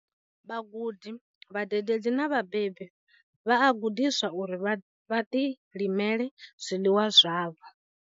Vhagudi, vhadededzi na vhabebi vha a gudiswa uri vha ḓilimele zwiḽiwa zwavho.